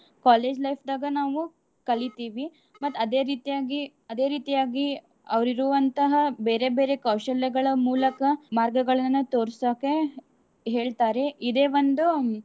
college life ದಾಗ ನಾವು ಕಲಿತೀವಿ ಮತ್ತ್ ಅದೇ ರೀತಿಯಾಗಿ ಅದೇ ರೀತಿಯಾಗಿ ಅವ್ರ್ ಇರುವಂತಹ ಬೇರೇ ಬೇರೇ ಕೌಶಲ್ಯಗಳ ಮೂಲಕ ಮಾರ್ಗಗಳನ್ನ ತೊರ್ಸಾಕೆ ಹೇಳ್ತಾರೆ ಇದೇ ಒಂದು.